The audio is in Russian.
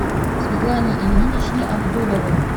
светлане ильиничне абдуловой